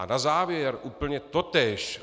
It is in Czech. A na závěr úplně totéž.